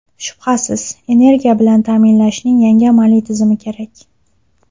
Shubhasiz, energiya bilan ta’minlashning yangi amaliy tizimi kerak.